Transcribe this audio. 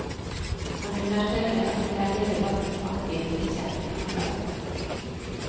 Han understreker at det er det debatten om aktiv dødshjelp handler om.